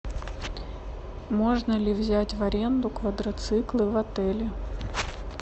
можно ли взять в аренду квадроциклы в отеле